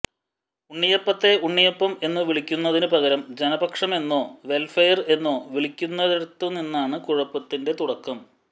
ഉണ്ണിയപ്പത്തെ ഉണ്ണിയപ്പം എന്നു വിളിക്കുന്നതിനു പകരം ജനപക്ഷമെന്നോ വെല്ഫെയര് എന്നോ വിളിക്കുന്നിടത്തുനിന്നാണ് കുഴപ്പത്തിന്റെ തുടക്കം